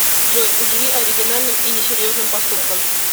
джой удиви оригинальным и несерьезным поступком